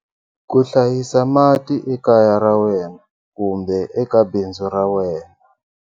Ku hlayisa mati ekaya ra wena kumbe eka bindzu ra wena.